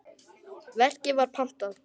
Verkið var pantað.